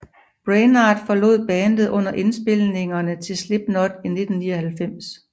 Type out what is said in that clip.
Brainard forlod bandet under indspilningerne til Slipknot i 1999